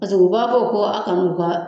Paseke u b'a fɔ ko a ka n'u ka